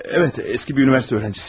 Bəli, eski bir universitet tələbəsiyəm.